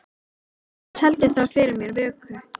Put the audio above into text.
Annars heldur það fyrir mér vöku.